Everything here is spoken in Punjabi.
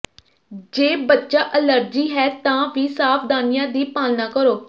ਜੇ ਬੱਚਾ ਅਲਰਜੀ ਹੈ ਤਾਂ ਵੀ ਸਾਵਧਾਨੀਆਂ ਦੀ ਪਾਲਣਾ ਕਰੋ